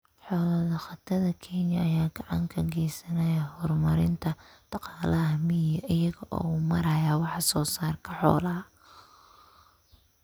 Xoolo-dhaqatada Kenya ayaa gacan ka geysanaya horumarinta dhaqaalaha miyiga iyaga oo u maraya wax soo saarka xoolaha.